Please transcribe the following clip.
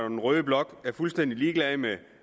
og den røde blok er fuldstændig ligeglade med